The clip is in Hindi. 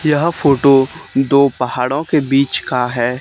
यह फोटो दो पहाड़ों के बीच का है।